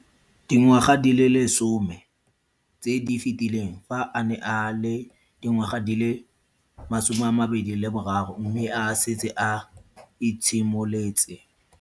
Dingwaga di le 10 tse di fetileng, fa a ne a le dingwaga di le 23 mme a setse a itshimoletse.